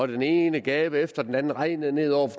den ene gave efter den anden regnede ned over